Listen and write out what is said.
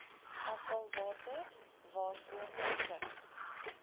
afvalwater waaroor beskik